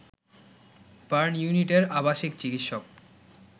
burn ইউনিটের আবাসিক চিকিৎসক